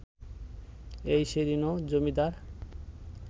এই সেদিনও জমিদার